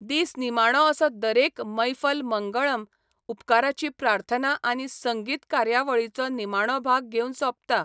दीस निमाणो असो दरेक मैफल मंगळम, उपकाराची प्रार्थना आनी संगीत कार्यावळीचो निमाणो भाग घेवन सोंपता.